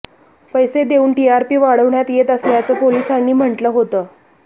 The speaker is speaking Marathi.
पैसे देऊन टीआरपी वाढण्यात येत असल्याचं पोलिसांनी म्हटलं होतं